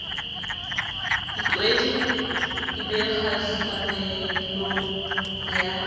diqwedi di be kgahlamelong ya